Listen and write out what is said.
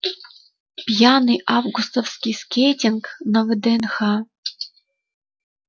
пьяный августовский скейтинг на вднх